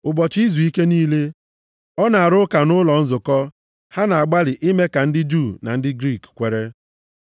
Ụbọchị izuike niile, ọ na-arụ ụka nʼụlọ nzukọ ha na-agbalị ime ka ndị Juu na ndị Griik kwere.